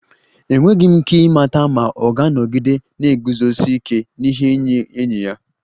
Enweghị m ike ịmata ma ọ ga-anọgide na-eguzosi ike n'ihe nye enyi ya